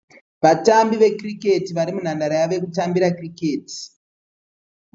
Vatambi vekiriketi vari munhandare yavo yekutambira kiriketi.